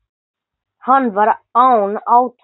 Var hann án átaka.